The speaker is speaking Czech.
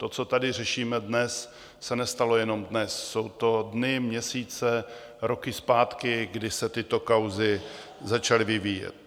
To, co tady řešíme dnes, se nestalo jenom dnes, jsou to dny, měsíce, roky zpátky, kdy se tyto kauzy začaly vyvíjet.